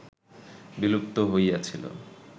বিলুপ্ত হইয়াছিল